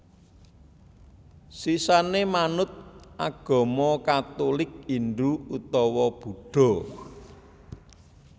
Sisané manut agama Katulik Hindhu utawa Buddha